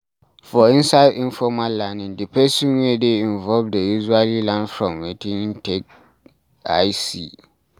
for inside informal learning di person wey dey involved dey usually learn from wetin im take eye see